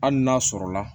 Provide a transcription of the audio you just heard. Hali n'a sɔrɔ la